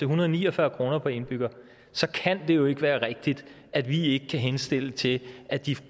hundrede og ni og fyrre kroner per indbygger så kan det jo ikke være rigtigt at vi ikke kan henstille til at de